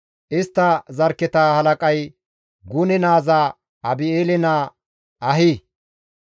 Istta zarkketa halaqay Gune naaza Abi7eele naa Ahi.